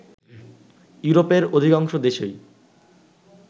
ইউরোপের অধিকাংশ দেশই